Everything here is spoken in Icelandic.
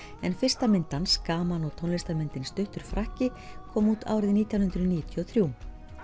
en fyrsta mynd hans gaman og tónlistarmyndin stuttur frakki kom út árið nítján hundruð níutíu og þrjú